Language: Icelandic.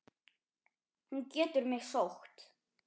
Hún getur mig sótt.